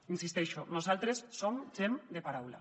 hi insisteixo nosaltres som gent de paraula